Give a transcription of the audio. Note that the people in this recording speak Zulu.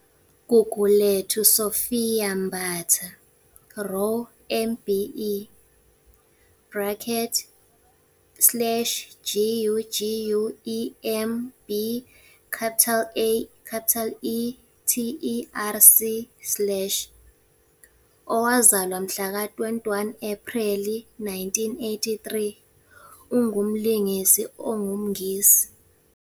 Gugulethu Sophia Mbatha-Raw MBE bracket slash g u g u e m b AE t e r c slash, owazalwa ngomhlaka 21 Ephreli 1983, ungumlingisi ongumNgisi.